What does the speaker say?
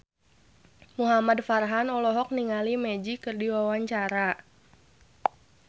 Muhamad Farhan olohok ningali Magic keur diwawancara